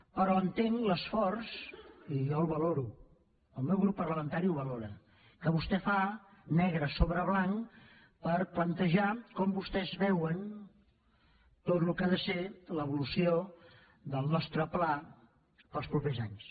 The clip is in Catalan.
però entenc l’esforç i jo el valoro el meu grup parlamentari el valora que vostè fa negre sobre blanc per plantejar com vostès veuen tot el que ha de ser l’evolució del nostre pla per als propers anys